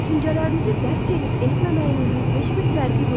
Düşüncələrinizi dərk edib etməməyinizin heç bir fərqi yoxdur.